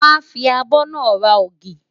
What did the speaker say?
Wàá fi abọ́ náà ra ògì.